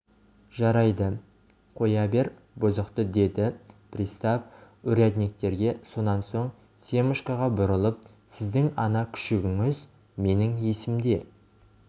жарайды қоя бер бұзықты деді пристав урядниктерге сонан соң семашкоға бұрылып сіздің ана күшігіңіз менің есімде